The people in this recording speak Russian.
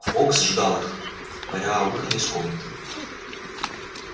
фоукс ждал их паря у выхода из комнаты